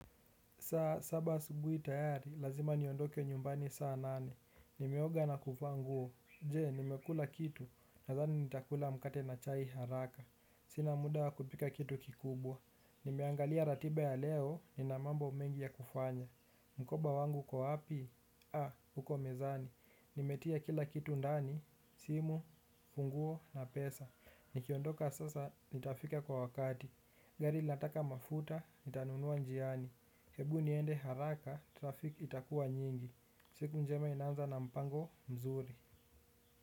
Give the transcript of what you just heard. Saba asubui tayari, lazima niondoke nyumbani saa nane. Nimeoga na kuvaa nguo. Je, nimekula kitu. Nathani nitakula mkate na chai haraka. Sina muda wa kupika kitu kikubwa. Nimeangalia ratiba ya leo, nina mambo mengi ya kufanya. Mkoba wangu uko wapi? Aa, huko mezani. Nimetia kila kitu ndani, simu, funguo na pesa. Nikiondoka sasa, nitafika kwa wakati. Gari linataka mafuta, nitanunua njiani. Hebu niende haraka, trafik itakua nyingi. Siku njema inaanza na mpango mzuri.